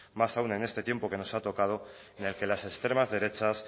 más aún en este tiempo que nos ha tocado en el que las extremas derechas